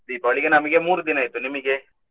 Deepavali ಗೆ ನಮಿಗೆ ಮೂರು ದಿನ ಇತ್ತು, ನಿಮಗೆ?